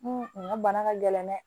N ka bana ka gɛlɛn dɛ